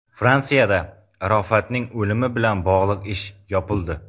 Fransiyada Arofatning o‘limi bilan bog‘liq ish yopildi.